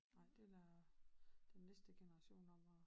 Nej det var de næste generationer